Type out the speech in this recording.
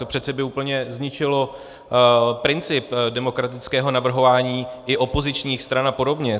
To by přece úplně zničilo princip demokratického navrhování i opozičních stran a podobně.